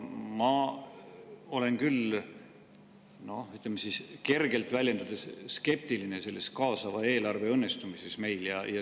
Ma olen küll – ütleme, kergelt väljendudes – skeptiline selle kaasava eelarve õnnestumise suhtes.